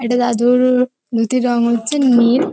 একটা দাদুর-অ-অ ধুতির রং হচ্ছে নীল।